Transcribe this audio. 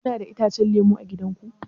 Kuna da itacen lemu a gida ku?